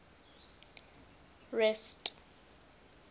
rest